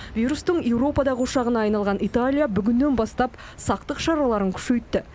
вирустың еуропадағы ошағына айналған италия бүгіннен бастап сақтық шараларын күшейтті